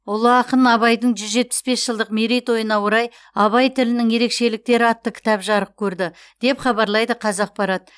ұлы ақын абайдың жүз жетпіс бес жылдық мерейтойына орай абай тілінің ерекшеліктері атты кітап жарық көрді деп хабарлайды қазақпарат